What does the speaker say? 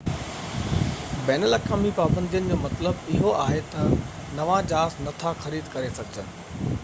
بين الاقوامي پابندين جو مطلب اهو آهي ته نوان جهاز نٿا خريد ڪري سگهجن